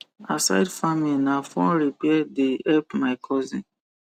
aside farming na phone repair the help my cousin